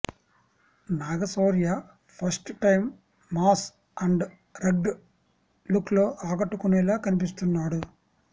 Naga Shaurya first time mass and rugged look లో ఆకట్టుకునేలా కనిపిస్తున్నాడు